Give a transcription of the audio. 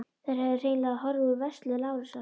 Þær höfðu hreinlega horfið úr vörslu Lárusar.